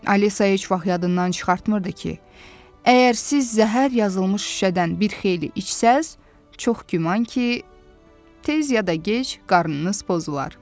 Alisa heç vaxt yadından çıxartmırdı ki, əgər siz zəhər yazılmış şüşədən bir xeyli içsəz, çox güman ki, tez ya da gec qarnınız pozular.